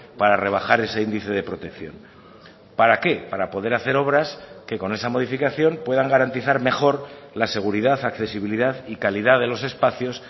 para rebajar ese índice de protección para qué para poder hacer obras que con esa modificación puedan garantizar mejor la seguridad accesibilidad y calidad de los espacios